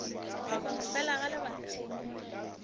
goba go fela ga lebaka